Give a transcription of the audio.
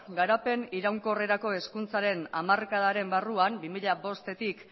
garapen iraunkorrerako hezkuntzaren hamarkadaren barrua bi mila hamabostetik